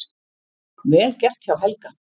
Vel gert hjá Helga!